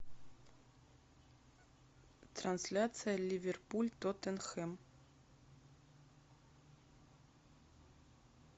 трансляция ливерпуль тоттенхэм